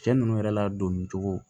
Cɛ nunnu yɛrɛ ladonni cogo